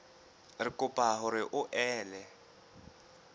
re kopa hore o ele